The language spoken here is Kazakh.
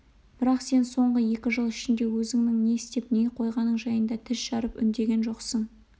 бірақ сен соңғы екі жыл ішінде өзіңнің не істеп не қойғаның жайында тіс жарып үндеген жоқсың